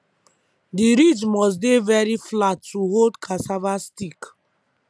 the ridge must dey very flat to hold cassava stick